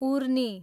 उर्नी